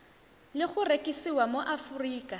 le go rekisiwa mo aforika